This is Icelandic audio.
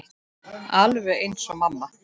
Alveg eins og mamma.